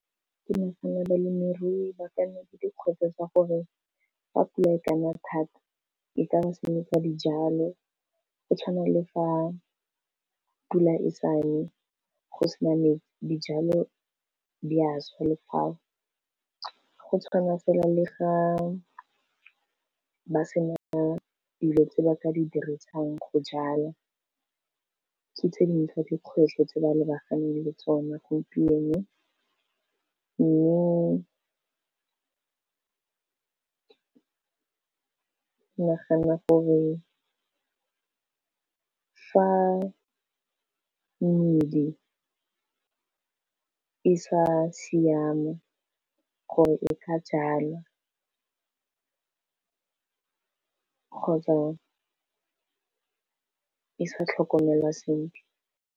Ke nagana balemirui ba ka nna le dikgwetlho tsa gore fa pula e ka na thata, e ka ba senyetsa dijalo. Go tshwana le fa pula e sa ne go sena metsi di jalo di a swa le fao, go tshwana fela le ga ba sena dilo tse ba ka di dirisang go jala ke tse dingwe tsa dikgwetlho tse ba lebaganeng le tsone gompieno, Mme ke nagana gore fa medi, e sa siama gore e ka jalwa kgotsa e sa tlhokomelwa sentle.